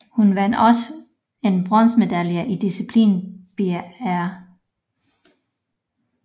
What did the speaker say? Hun vandt også en bronzemedalje i disciplinen big air